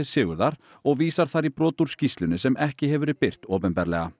Sigurðar og vísar þar í brot úr skýrslunni sem ekki hefur verið birt opinberlega